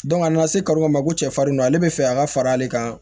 a nana se kari dɔ ma ko cɛfarin don ale bɛ fɛ a ka fara ale kan